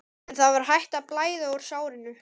En það var hætt að blæða úr sárinu.